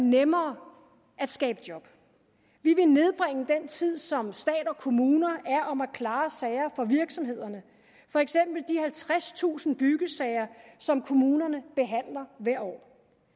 nemmere at skabe job vi vil nedbringe den tid som stat og kommuner er om at klare sager for virksomhederne for eksempel de halvtredstusind byggesager som kommunerne behandler hvert år